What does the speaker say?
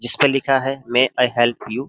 जिस पर लिखा है मे आई हेल्प यू --